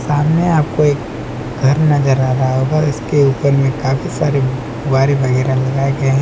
सामने आपके एक घर नजर आ रहा होगा इसके ऊपर काफी सारे गुब्बारे वगैरा लगाए गए हैं।